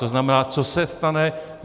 To znamená, co se stane?